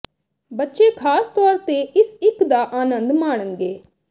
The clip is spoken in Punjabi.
ਬੱਚੇ ਖਾਸ ਤੌਰ ਤੇ ਇਸ ਇੱਕ ਦਾ ਆਨੰਦ ਮਾਣਨਗੇ